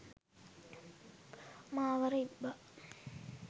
මාවර ඉබ්බා